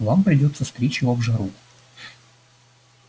вам придётся стричь его в жару